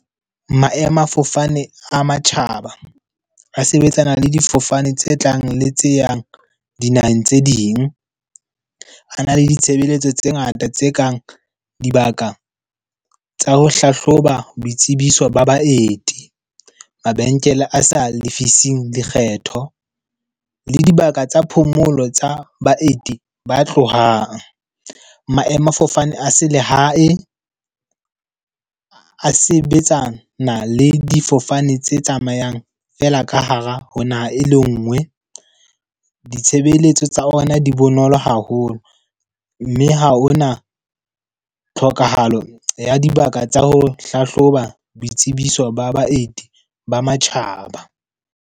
Maemafofane a matjhaba a sebetsana le difofane tse tlang le tse yang dinaheng tse ding. A na le ditshebeletso tse ngata tse kang di bakang tsa ho hlahloba boitsebiso ba baeti, mabenkele a sa lefising, lekgetho, le dibaka tsa phomolo tsa baeti ba tlohang. Maemafofane a selehae a sebetsana le difofane tse tsamayang fela ka hara ho naha e le nngwe. Ditshebeletso tsa ona di bonolo hape haholo. Mme ha hona tlhokahalo ya dibaka tsa ho hlahloba boitsebiso ba baeti, ba matjhaba.